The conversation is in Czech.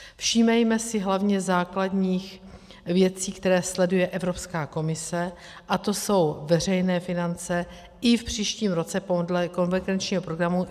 Všímejme si hlavně základních věcí, které sleduje Evropská komise, a to jsou veřejné finance i v příštím roce podle konvergenčního programu.